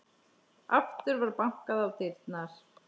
Aftur var bankað á dyrnar.